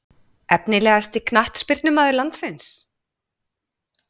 Efnilegasti knattspyrnumaður landsins?